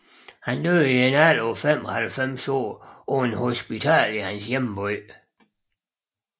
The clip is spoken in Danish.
Han døde i en alder af 95 år på et hospital i sin hjemby